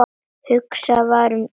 Hugsað var um hvert blóm.